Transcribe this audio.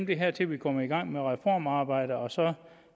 det her til vi kommer i gang med reformarbejdet og så